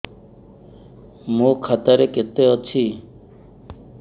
ମୋ ଖାତା ରେ କେତେ ଅଛି